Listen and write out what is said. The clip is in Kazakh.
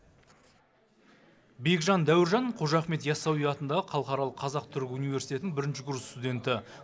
бекжан дәуіржан қожа ахмет ясауи атындағы халықаралық қазақ түрік университетінің бірінші курс студенті